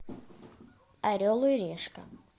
орел и решка